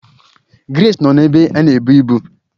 Grace nọ n'ebé a n'ebu ibu